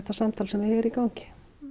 samtal sem er hér í gangi